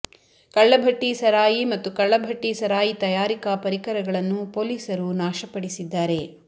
ಕಳ್ಳ ಭಟ್ಟಿ ಸರಾಯಿ ಮತ್ತು ಕಳ್ಳ ಭಟ್ಟಿ ಸರಾಯಿ ತಯಾರಿಕಾ ಪರಿಕರಗಳನ್ನು ಪೊಲೀಸರು ನಾಶಪಡಿಸಿದ್ದಾರೆ